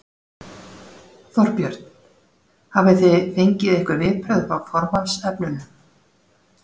Þorbjörn: Hafið þið fengið einhver viðbrögð hjá formannsefnunum?